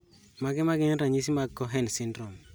Mage magin ranyisi mag Cohen syndrome?